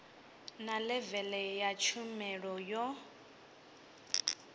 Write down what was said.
na levele ya tshumelo yo